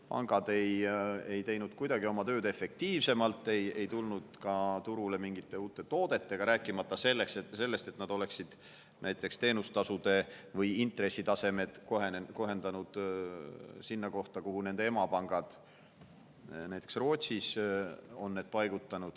Pangad ei teinud oma tööd kuidagi efektiivsemalt, nad ei tulnud ka turule mingite uute toodetega, rääkimata sellest, et nad oleksid näiteks teenustasusid või intresse kohendanud nii, et need oleksid jõudnud sinna, nagu nende emapankades näiteks Rootsis.